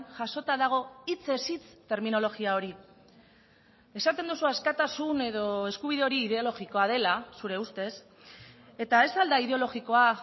jasota dago hitzez hitz terminologia hori esaten duzu askatasun edo eskubide hori ideologikoa dela zure ustez eta ez al da ideologikoa